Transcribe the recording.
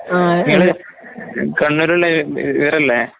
ഇങ്ങള് കണ്ണൂരുള്ള ഇ ഇവരല്ലേ?